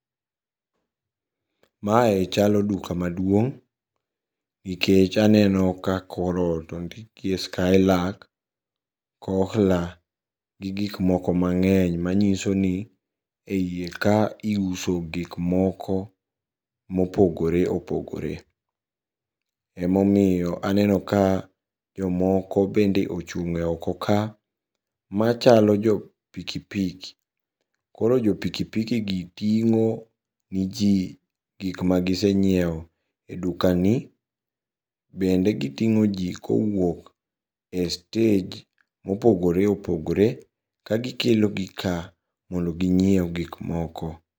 Mae chalo duka maduong' nikech aneno ka korot ondikie Skylark Kohler gi gikmoko mang'eny manyisoni e iye ka iuso gikmoko mopogore opogore. Emomiyo aneno ka jomoko bende ochung'e oko ka machalo jopikipiki, koro jopikipikigi ting'o neji gikma gisenyieo e dukani bende giting'o jii kowuok e stage mopogore opogore kagikelo ka mondo ginyieu gikmoko.